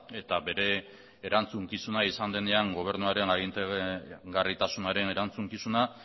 eta bere erantzukizuna izan denean gobernuaren agintegarritasunaren erantzukizuna